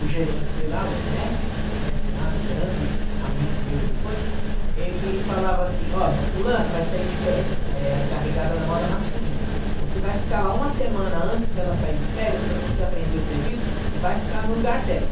O gerente de lá, o Ernesto, Ernesto Masi, grande amigo meu ele foi, ele falava assim, olha, fulano vai sair de férias, é a encarregada da moda masculina, você vai ficar lá uma semana antes dela sair de férias para você aprender o serviço e vai ficar no lugar dela.